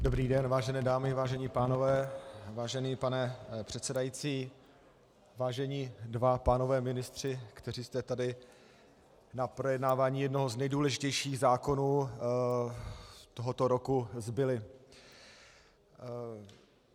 Dobrý den, vážené dámy, vážení pánové, vážený pane předsedající, vážení dva pánové ministři, kteří jste tady na projednávání jednoho z nejdůležitějších zákonů tohoto roku, zbyli.